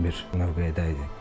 Bir növbəyədək idi.